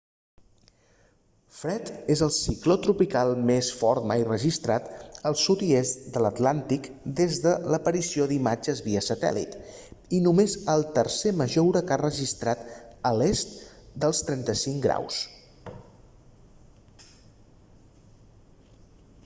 fred és el cicló tropical més fort mai registrat al sud i est de l'atlàntic des de l'aparició d'imatges via satèl·lit i només el tercer major huracà registrat a l'est dels 35 ºo